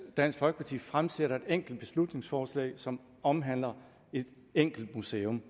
dansk folkeparti fremsætter et enkelt beslutningsforslag som omhandler et enkelt museum